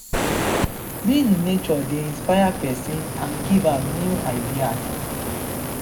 being in nature dey inspire pesin and give am new ideas.